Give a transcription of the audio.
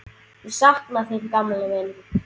Ég sakna þín gamli minn.